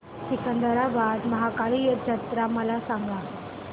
सिकंदराबाद महाकाली जत्रा मला सांगा